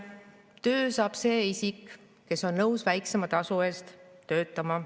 Töö saab see isik, kes on nõus väiksema tasu eest töötama.